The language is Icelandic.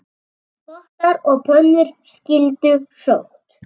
Pottar og pönnur skyldu sótt.